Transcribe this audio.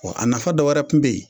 Wa a nafa dɔ wɛrɛ kun be ye